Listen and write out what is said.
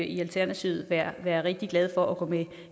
i alternativet være være rigtig glad for at gå med